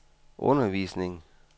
undervisning